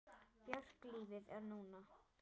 Björk Lífið er núna!